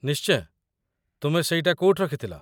ନିଶ୍ଚୟ, ତୁମେ ସେଇଟା କୋଉଠି ରଖିଥିଲ?